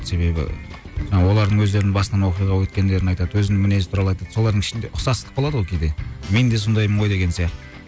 себебі олардың өздерін басынан оқиға өткендерін айтады өзін мінездері туралы айтады солардың ішінде ұқсастық болады ғой кейде мен де сондаймын ғой деген сияқты